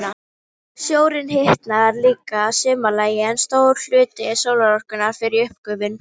Sjórinn hitnar líka að sumarlagi, en stór hluti sólarorkunnar fer í uppgufun.